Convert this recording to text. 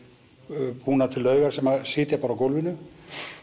búnar til laugar sem sitja bara á gólfinu